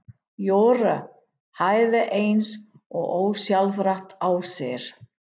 Jóra hægði eins og ósjálfrátt á sér.